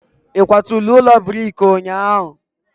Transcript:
ị kwaturu ụlọ brik ụnyahụ?